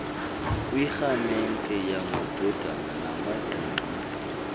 kwirhaamente yamadodana namaqina